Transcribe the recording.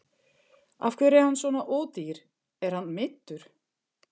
Af hverju er hann svona ódýr, er hann meiddur?